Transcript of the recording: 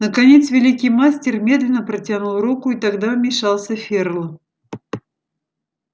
наконец великий мастер медленно протянул руку и тогда вмешался ферл